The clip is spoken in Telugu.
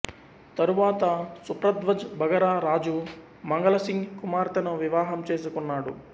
తరువాత సుప్రధ్వజ్ బఘర రాజు మంగళసింగ్ కుమార్తెను వివాహం చేసుకున్నాడు